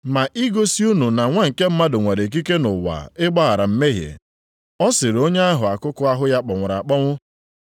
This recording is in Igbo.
Ma igosi unu na Nwa nke Mmadụ nwere ikike nʼụwa ịgbaghara mmehie.” Ọ sịrị onye ahụ akụkụ ahụ ya kpọnwụrụ akpọnwụ,